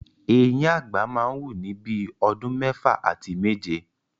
Eyín àgbà máa wù ni bíi ọdún mẹ́fà àti méje.